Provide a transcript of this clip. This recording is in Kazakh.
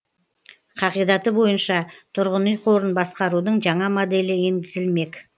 қағидаты бойынша тұрғын үй қорын басқарудың жаңа моделі енгізілмек